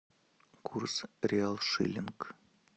курс реал шиллинг